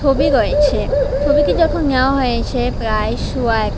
ছবি রয়েছে ছবিটি যখন নেওয়া হয়েছে প্রায় শুয়া এক--